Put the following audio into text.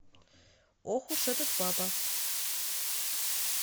ох уж этот папа